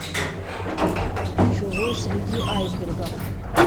чужой среди айсбергов